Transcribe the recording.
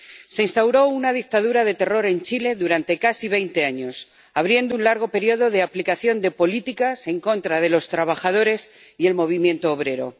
Se instauró una dictadura de terror en Chile durante casi veinte años, abriendo un largo periodo de aplicación de políticas en contra de los trabajadores y del movimiento obrero.